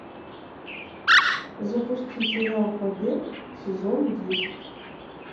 запусти сериал побег сезон десять